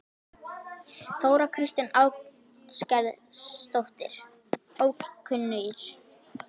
Þóra Kristín Ásgeirsdóttir: Ókunnugir?